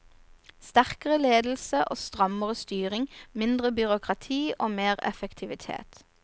Sterkere ledelse og strammere styring, mindre byråkrati og mer effektivitet.